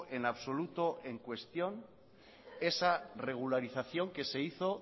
en absoluto en cuestión esa regularización que se hizo